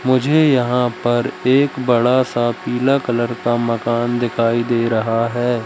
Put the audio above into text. मुझे यहां पर एक बड़ा सा पीला कलर का मकान दिखाई दे रहा है।